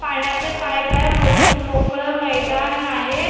पाण्याचे पाईप हाय मो मोकळं मैदान आहे.